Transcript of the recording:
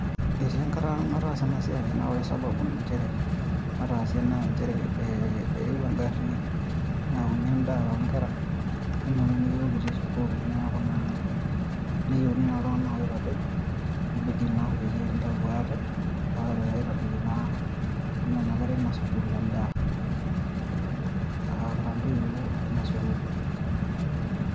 Etii enkata nataasa ena siai naa ore sababu nataasie inchere naa inchere eewuo eng'ari neyauni endaa onkera neinepuni iyiok kitii sukuul, niaku naa neyieuni naa iltung'anak oitadou neibidi naa peyie kindau aate, aitadoiki naa nena kera eina sukuul endaa. kiira intoiwuo eina sukuul.